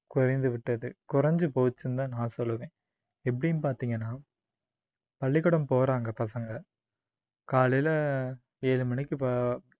குறைந்துவிட்டது குறைஞ்சு போச்சுன்னுதான் நான் சொல்லுவேன் எப்படின்னு பார்த்தீங்கன்னா பள்ளிக்கூடம் போறாங்க பசங்க காலையில ஏழு மணிக்கு ப~